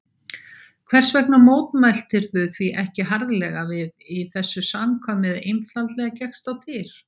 Hvers vegna mótmæltirðu því ekki harðlega við, í þessu samkvæmi eða einfaldlega gekkst á dyr?